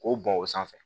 K'o bɔn o sanfɛ